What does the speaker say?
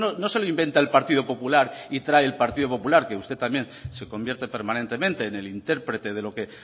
no se lo inventa el partido popular y trae el partido popular que usted también se convierte permanentemente en el intérprete de lo que